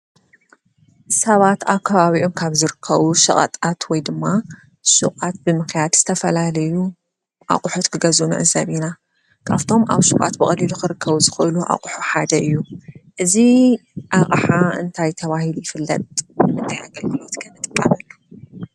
ሰባት ኣብ ከባቢኦም ካብ ዝርከቡ ሸቀጣት ወይ ድማ ሽቋት ብምኻድ ዝተፈላለዩ ኣቑሑት ክገዝኡ ንዕዘብ ኢና። ካብ'ቶም ኣብ ሹቋት ብቀሊሉ ክርከቡ ዝኽእሉ ሓደ እዩ። እዚ ኣቕሓ እንታት ተባሂሉ ይፍለጥ ?